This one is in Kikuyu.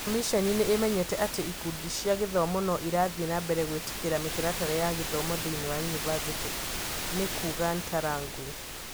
"Komishene nĩ ĩmenyete atĩ ikundi cia gĩthomo no irathiĩ na mbere gwĩtĩkĩria mĩtaratara ya gĩthomo thĩinĩ wa yunivacĩtĩ, " ni kuuga Ntarangwi.